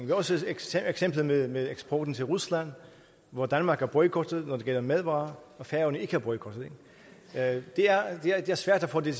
kan også tage eksemplet med med eksporten til rusland hvor danmark er boykottet når det gælder madvarer og færøerne ikke er boykottet det er svært at få det